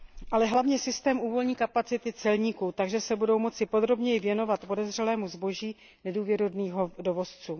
Ale hlavně systém uvolní kapacity celníků, takže se budou moci podrobněji věnovat podezřelému zboží nedůvěrohodných dovozců.